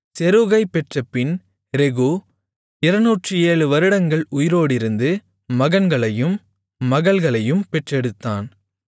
செரூகைப் பெற்றபின் ரெகூ 207 வருடங்கள் உயிரோடிருந்து மகன்களையும் மகள்களையும் பெற்றெடுத்தான்